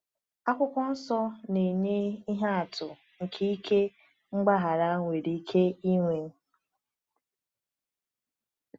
Akwụkwọ Nsọ na-enye ihe atụ nke ike mgbaghara nwere ike inwe.